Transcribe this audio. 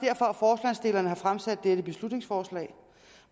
det er har fremsat dette beslutningsforslag